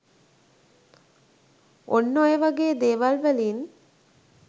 ඔන්න ඔය වගේ දේවල්වලින්